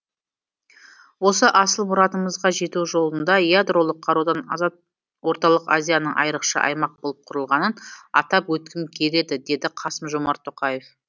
осы асыл мұратымызға жету жолында ядролық қарудан азат орталық азияның айрықша аймақ болып құрылғанын атап өткім келеді деді қасым жомарт тоқаев